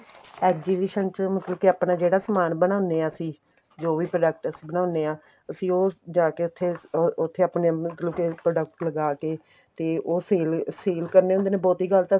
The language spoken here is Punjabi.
exhibition ਮਤਲਬ ਕੇ ਆਪਣਾ ਜਿਹੜਾ ਸਮਾਨ ਬਣਾਦੇ ਹਾਂ ਅਸੀਂ ਜੋ ਵੀ product ਅਸੀਂ ਬਣਾਉਦੇ ਹਾਂ ਅਸੀਂ ਉਹ ਜਾਕੇ ਉੱਥੇ ਉੱਥੇ ਆਪਣੇ ਮਤਲਬ ਕੀ product ਲਗਾਕੇ ਤੇ ਉਹ sale sale ਕਰਨੇ ਹੁੰਦੇ ਨੇ ਬਹੁਤੀ ਗੱਲ ਤਾਂ